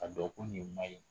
Ka dɔn ko nin man ɲi.